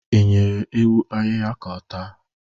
I nyere ewu ahịhịa ka ọ taa?